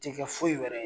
Ti kɛ foyi wɛrɛ ye